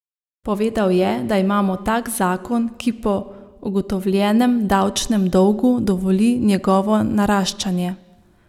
Povedal je, da imamo tak zakon, ki po ugotovljenem davčnem dolgu dovoli njegovo naraščanje.